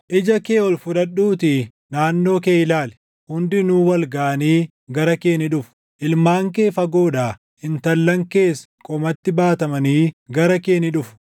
“Ija kee ol fudhadhuutii naannoo kee ilaali; hundinuu wal gaʼanii gara kee ni dhufu; ilmaan kee fagoodhaa, intallan kees qomatti baatamanii gara kee ni dhufu.